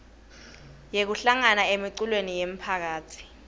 yekuhlangana emiculweni yemphakatsi